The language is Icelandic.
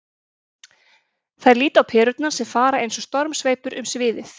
Þær líta á perurnar sem fara eins og stormsveipur um sviðið.